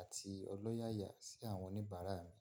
àti ọlọ́yàyà sí àwọn oníbàárà mi.